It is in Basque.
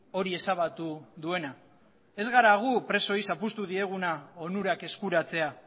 hori ezabatu duena ez gara gu presoei zapuztu dieguna onurak eskuratzea